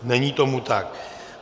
Není tomu tak.